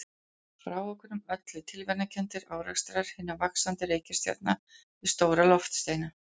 Frávikunum ollu tilviljanakenndir árekstrar hinna vaxandi reikistjarna við stóra loftsteina.